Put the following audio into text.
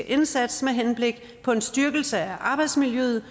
indsats med henblik på en styrkelse af arbejdsmiljøet